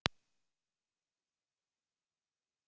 Ég er orðin hundleið á grófa brauðinu!